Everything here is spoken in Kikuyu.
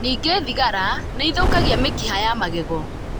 Ningĩ thigara nĩ ĩthũkagia mĩkiha ya magego.